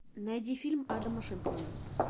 найди фильм адама шенкмана